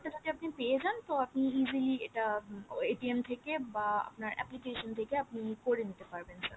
যদি আপনি পেয়ে জান তো আপনি easily এটা উম থেকে বা আপনার application থেকে আপনি করে নিতে পারবেন sir